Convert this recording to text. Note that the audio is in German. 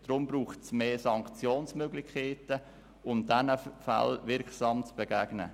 Deshalb braucht es mehr Sanktionsmöglichkeiten, um diesen Fällen wirksam zu begegnen.